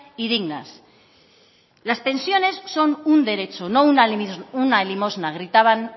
y dignas las pensiones son un derecho no una limosna gritaban